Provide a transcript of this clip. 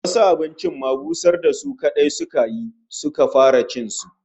Wasu abincin ma busar da su kadai suka yi, suka fara cin su